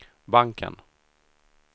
banken